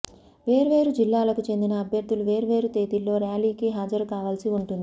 వేర్వేరు జిల్లాలకు చెందిన అభ్యర్థులు వేర్వేరు తేదీల్లో ర్యాలీకి హాజరుకావాల్సి ఉంటుంది